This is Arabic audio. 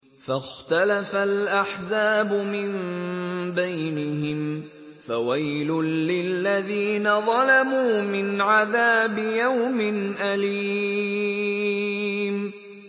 فَاخْتَلَفَ الْأَحْزَابُ مِن بَيْنِهِمْ ۖ فَوَيْلٌ لِّلَّذِينَ ظَلَمُوا مِنْ عَذَابِ يَوْمٍ أَلِيمٍ